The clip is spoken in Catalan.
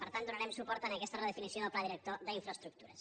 per tant donarem suport a aquesta redefinició del pla director d’infraestructures